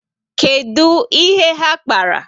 Kedu ihe ha kpara?